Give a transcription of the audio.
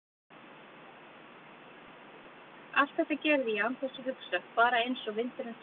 Allt þetta gerði ég án þess að hugsa, bara einsog vindurinn sem blæs.